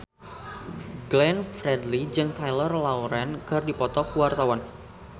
Glenn Fredly jeung Taylor Lautner keur dipoto ku wartawan